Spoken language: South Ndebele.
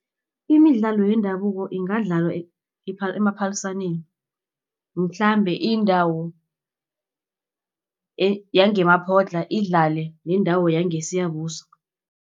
Imidlalo yendabuko ingadlalwa emaphaliswaneni mhlambe indawo yangeMaphotla idlale nendawo yangeSiyabuswa.